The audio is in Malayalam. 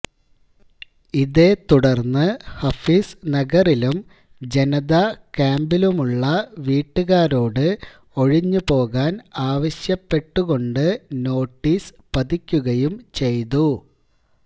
ഇതേത്തുടർന്ന് ഹഫീസ് നഗറിലും ജനത ക്യാമ്പിലുമുള്ള വീട്ടുകാരോട് ഒഴിഞ്ഞുപോകാൻ ആവശ്യപ്പെട്ടുകൊണ്ട് നോട്ടീസ് പതിക്കുകയും ചെയ്തു